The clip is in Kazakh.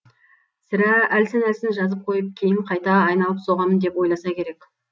сірә әлсін әлсін жазып қойып кейін қайта айналып соғамын деп ойласа керек